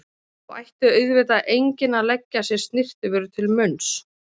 Þó ætti auðvitað enginn að leggja sér snyrtivörur til munns.